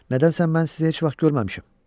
Nədən sən mən sizi heç vaxt görməmişəm?